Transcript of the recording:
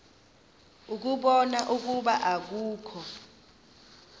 ukubona ukuba akukho